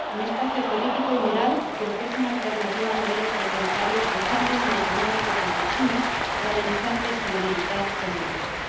Un espacio político y moral que ofrece una alternativa a modelos autoritarios pujantes en lo económico, como el chino, o amenazantes en lo militar, como el ruso.